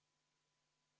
V a h e a e g